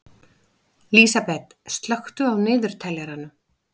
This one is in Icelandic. Lísabet, slökktu á niðurteljaranum.